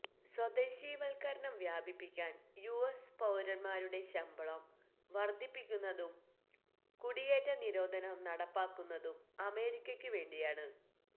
സ്വദേശീവത്കരണം വ്യാപിപ്പിക്കാന് U S പൌരന്മാരുടെ ശമ്പളം വര്ധിപ്പിക്കുന്നതും കുടിയേറ്റ നിരോധം നടപ്പാക്കുന്നതും അമേരിക്കക്ക് വേണ്ടിയാണ്